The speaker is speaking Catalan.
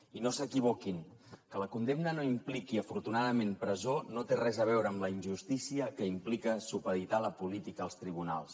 i no s’equivoquin que la condemna no impliqui afortunadament presó no té res a veure amb la injustícia que implica supeditar la política als tribunals